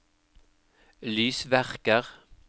lysverker